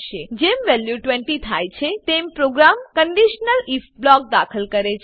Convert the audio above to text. જેમ વેલ્યુ 20 થાય છે તેમ પ્રોગ્રામ કંડીશનલ આઇએફ બ્લોક દાખલ કરે છે